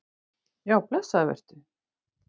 Já, blessaður vertu.